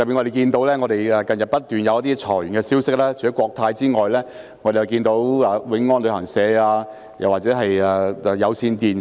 近日不斷有裁員消息，除了國泰航空公司外，還有永安旅行社及有線電視。